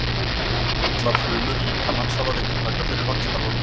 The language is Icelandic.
Allar frumur líkamans hafa viðtaka fyrir vaxtarhormón.